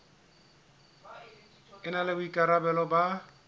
e na le boikarabelo ba